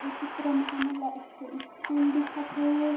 ये चित्र म हमन ला एक ठो स्कूल दिखत हे।